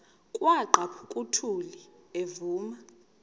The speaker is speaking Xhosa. kwaqhaphuk uthuli evuma